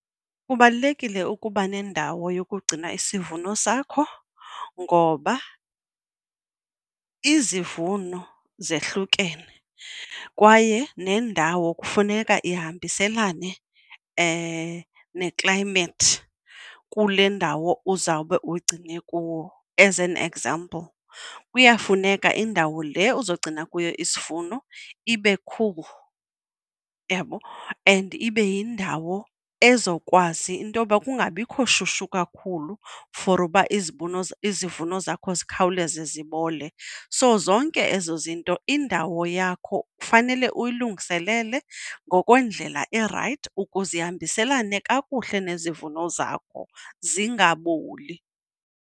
Kubalulekile ukuba nendawo yokugcina isivuno sakho ngoba izivuno zehlukene kwaye nendawo kufuneka ihambiselana ne-climate kule ndawo uzawube ugcine kuwo. As an example, kuyafuneka indawo le uzawugcina kuyo isivuno ibe cool, yabo and ibe yindawo ezokwazi intoba kungabikho shushu kakhulu for uba izivuno zakho zikhawuleze zibole. So zonke ke ezo zinto, indawo yakho kufanele uyilungiselele ngokwendlela erayithi ukuze ihambiselana kakuhle nezivuno zakho zingaboli.